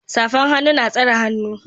safan hannu na tsare hannun